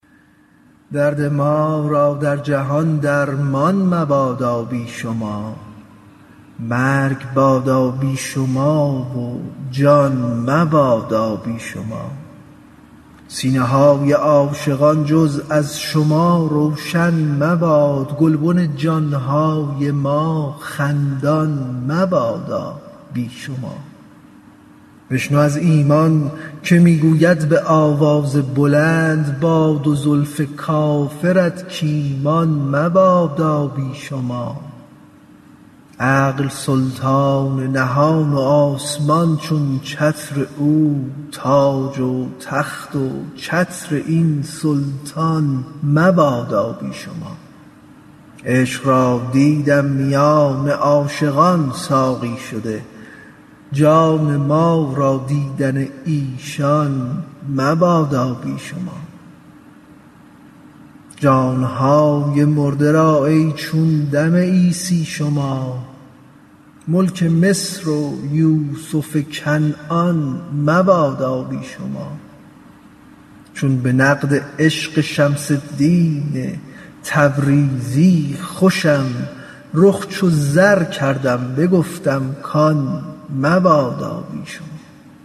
درد ما را در جهان درمان مبادا بی شما مرگ بادا بی شما و جان مبادا بی شما سینه های عاشقان جز از شما روشن مباد گلبن جان های ما خندان مبادا بی شما بشنو از ایمان که می گوید به آواز بلند با دو زلف کافرت کایمان مبادا بی شما عقل سلطان نهان و آسمان چون چتر او تاج و تخت و چتر این سلطان مبادا بی شما عشق را دیدم میان عاشقان ساقی شده جان ما را دیدن ایشان مبادا بی شما جان های مرده را ای چون دم عیسی شما ملک مصر و یوسف کنعان مبادا بی شما چون به نقد عشق شمس الدین تبریزی خوشم رخ چو زر کردم بگفتم کان مبادا بی شما